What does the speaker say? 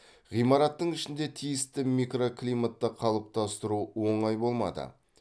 ғимараттың ішінде тиісті микроклиматты қалыптастыру оңай болмады